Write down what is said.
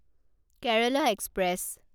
Kerala express